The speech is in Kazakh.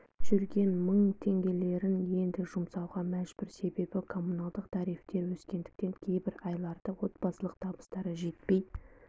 жүрген мың теңгеліктерін енді жұмасауға мәжбүр себебі коммуналдық тарифтер өскендіктен кейбір айларда отбасылық табыстары жетпей